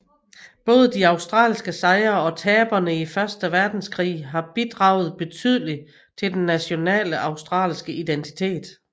Både de australske sejre og tabene i første verdenskrig har bidraget betydeligt til den nationale australske identitet